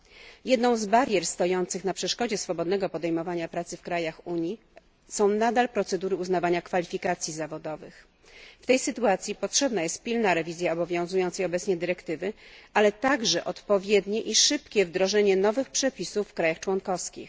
Przykładem barier uniemożliwiających swobodne podejmowanie pracy w krajach Unii są nadal procedury uznawania kwalifikacji zawodowych. W tej sytuacji potrzebna jest pilna rewizja obowiązującej obecnie dyrektywy, ale także odpowiednie i szybkie wdrożenie nowych przepisów w państwach członkowskich.